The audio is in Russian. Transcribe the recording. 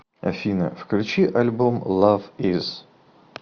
афина включи альбом лав из